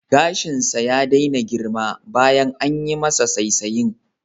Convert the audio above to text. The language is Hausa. Gashinsa ya daina girma bayan anyi masa saisayen